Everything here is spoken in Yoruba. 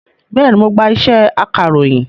Bẹ́ẹ̀ni, mo gba iṣẹ́ akàròyìn